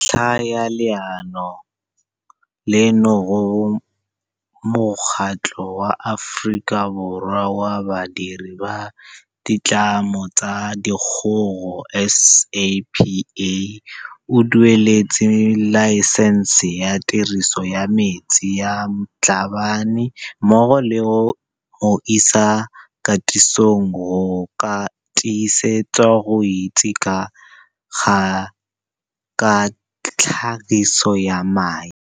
Ke ka ntlha ya leano leno go bo Mokgatlho wa Aforika Borwa wa Badiri ba Ditlamo tsa Dikgogo, SAPA, o dueletse laesense ya tiriso ya metsi ya Mhlabane mmogo le go mo isa katisong go ka tiisetswa go itse ka tlhagiso ya mae.